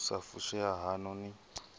u sa fushea haṋu ni